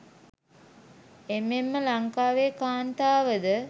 එමෙන්ම ලංකාවේ කාන්තාවද